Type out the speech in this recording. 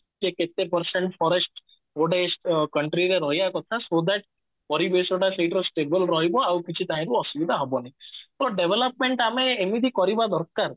ଯେ କେତେ percent forest ଗୋଟେ country ରେ ରହିବା କଥା so that ପରିବେଶ ଟା ସେଇଟିର stable ରହିବ ଆଉ କିଛି ତହିଁରୁ ଅସୁବିଧା ହବନି ତ development ଆମେ ଏମିତି କରିବା ଦରକାର